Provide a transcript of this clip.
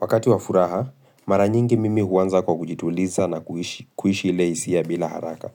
Wakati wa furaha, mara nyingi mimi huanza kwa kujituliza na kuishi ile isia bila haraka.